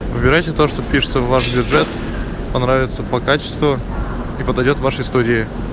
выбирайте то что впишется в ваш бюджет понравится по качеству и подойдёт вашей студии